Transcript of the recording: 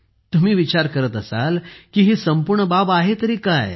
तुम्ही विचार करत असाल की हे संपूर्ण बाब आहे तरी काय